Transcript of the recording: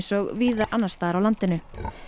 og víða annars staðar á landinu